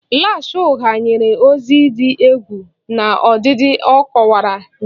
Lash ugha nyere ọzọ dị egwu n'ọdịdị a kowara nye iru